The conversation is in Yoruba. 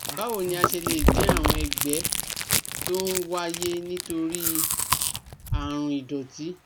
Báwo ni a ṣe lè dín àwọn ẹ̀gbẹ tó ń wáyé nítorí àrùn ìdọ̀tí?